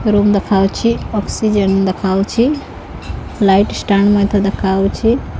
Room ଦେଖାଯାଉଛି oxygen ଦେଖାଯାଉଛି light stand ମଧ୍ୟ ଦେଖାଯାଉଛି।